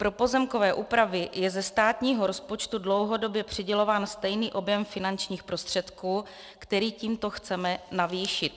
Pro pozemkové úpravy je ze státního rozpočtu dlouhodobě přidělován stejný objem finančních prostředků, který tímto chceme navýšit.